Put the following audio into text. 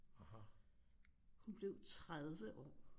Hun blev 30 år